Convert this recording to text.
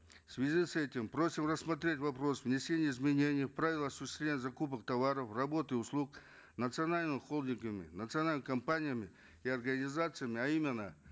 в связи с этим просим рассмотреть вопрос внесения изменений в правила осуществления закупок товаров работ и услуг национальными холдингами национальными компаниями и организациями а именно